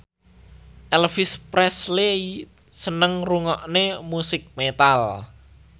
Elvis Presley seneng ngrungokne musik metal